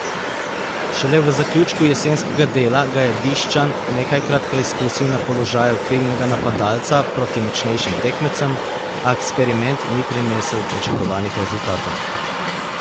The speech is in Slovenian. Šele v zaključku jesenskega dela ga je Bišćan nekajkrat preizkusil na položaju krilnega napadalca proti močnejšim tekmecem, a eksperiment ni prinesel pričakovanih rezultatov.